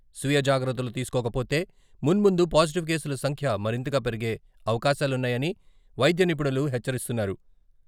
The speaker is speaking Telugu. స్వీయ జాగ్రత్తలు తీసుకోకపోతే..మున్ముందు పాజిటివ్ కేసుల సంఖ్య మరింతగా పెరిగే అవకాశాలున్నాయని వైద్య నిపుణులు హెచ్చరిస్తున్నారు.